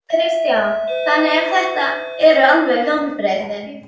Kristján: Þannig að þetta eru veruleg vonbrigði?